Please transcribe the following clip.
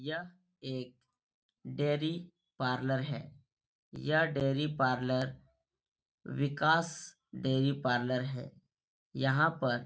यह एक dairy parlour है । यह dairy parlour Vikas dairy parlour है । यहाँ पर --